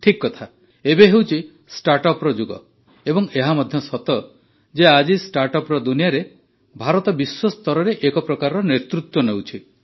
ଠିକ୍ କଥା ଏବେ ହେଉଛି ଷ୍ଟାର୍ଟଅପ୍ର ଯୁଗ ଏବଂ ଏହା ମଧ୍ୟ ସତ ଯେ ଆଜି ଷ୍ଟାଟ୍ର୍ଅପ୍ର ଦୁନିଆରେ ଆଜି ଭାରତ ବିଶ୍ୱସ୍ତରରେ ଏକ ପ୍ରକାର ନେତୃତ୍ୱ ନେଉଛି